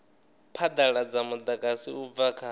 phadaladza mudagasi u bva kha